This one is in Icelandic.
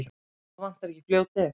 Og þá vantar ekki fljótið.